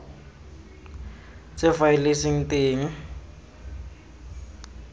tse faele e seng teng